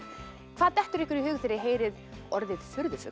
hvað dettur ykkur í hug þegar þið heyrið orðið furðufugl